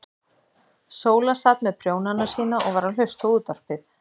Sóla sat með prjónana sína og var að hlusta á útvarpið.